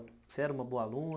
Você era uma boa aluna?